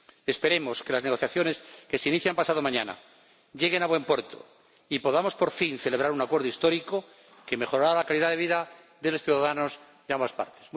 Esperemos que las negociaciones que se inician pasado mañana lleguen a buen puerto y podamos, por fin, celebrar un acuerdo histórico que mejorará la calidad de vida de los ciudadanos de ambas partes.